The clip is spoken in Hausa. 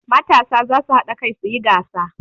Matasa za su haɗa kai su yi gasa.